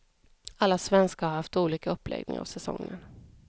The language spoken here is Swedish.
Alla svenskar har haft olika uppläggning av säsongen.